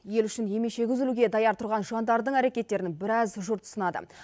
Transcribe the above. ел үшін емешегі үзілуге даяр тұрған жандардың әрекеттерін біраз жұрт сынады